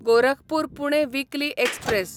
Gorakhpur Pune weekly express